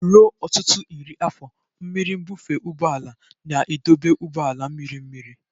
Ruo ọtụtụ iri afọ, mmiri nbufe ụgbọ ala na-edobe ụgbọ ala mmiri mmiri.